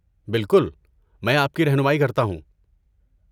بالکل، میں آپ کی رہنمائی کرتا ہوں۔